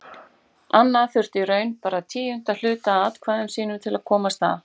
Anna þurfti í raun bara tíunda hluta af atkvæðum sínum til að komast að.